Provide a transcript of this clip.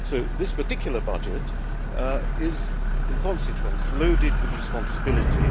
This particular budget is, in consequence, loaded with responsibility.